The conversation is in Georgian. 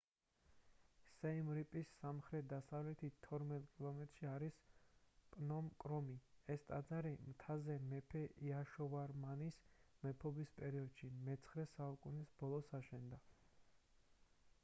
სიემ რიპის სამხრეთ-დასავლეთით 12 კილომეტრში არის პნომ კრომი ეს ტაძარი მთაზე მეფე იაშოვარმანის მეფობის პერიოდში მე-9 საუკუნის ბოლოს აშენდა